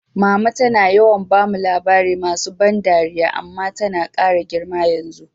Mama tana yawan bamu labari masu ban dariya, amma tana kara girma yanzu.